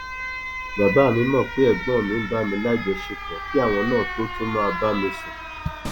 bàbá mi mọ pé ẹgbọn mi ń bá mi lájọṣepọ kí àwọn náà tóo tún máa bá mi sùn